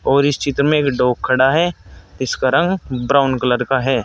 और इस चित्र में एक डॉग खड़ा है इसका रंग ब्राउन कलर का है।